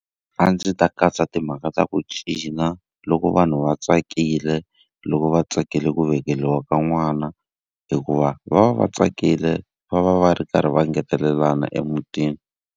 A ndzi ta katsa timhaka ta ku cina loko vanhu va tsakile, loko va tsakile ku veleriwa ka n'wana. Hikuva va va va tsakile va va va va ri karhi va ngetelelana emutini.